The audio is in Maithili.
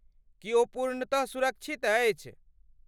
की ओ पूर्णतः सुरक्षित अछि?